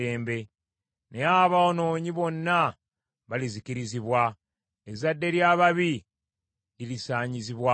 Naye aboonoonyi bonna balizikirizibwa; ezzadde ly’ababi lirisaanyizibwawo.